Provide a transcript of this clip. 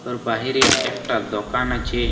খর বাহিরে একটা দোকান আছে ।